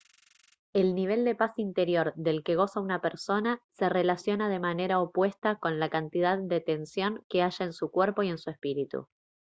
el nivel de paz interior del que goza una persona se relaciona de manera opuesta con la cantidad de tensión que haya en su cuerpo y en su espíritu